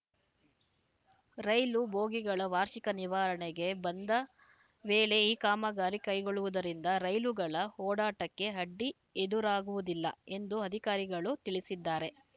ರೈಲು ಬೋಗಿಗಳ ವಾರ್ಷಿಕ ನಿರ್ವಹಣೆಗೆ ಬಂದ ವೇಳೆ ಈ ಕಾಮಗಾರಿ ಕೈಗೊಳ್ಳುವುದರಿಂದ ರೈಲುಗಳ ಓಡಾಟಕ್ಕೆ ಅಡ್ಡಿ ಎದುರಾಗುವುದಿಲ್ಲ ಎಂದು ಅಧಿಕಾರಿಗಳು ತಿಳಿಸಿದ್ದಾರೆ